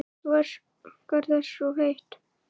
Þú óskar þess of heitt